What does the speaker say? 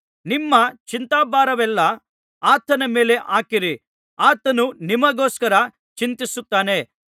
ನಿಮ್ಮ ಚಿಂತಾಭಾರವನ್ನೆಲ್ಲಾ ಆತನ ಮೇಲೆ ಹಾಕಿರಿ ಆತನು ನಿಮಗೋಸ್ಕರ ಚಿಂತಿಸುತ್ತಾನೆ